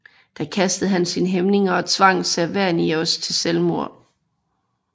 Da kastede han sine hæmninger og tvang Servianus til selvmord